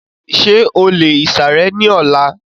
Ṣé o lè ìsàrẹ́ ní ọlá?